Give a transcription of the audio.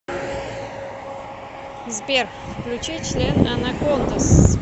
сбер включи член анакондаз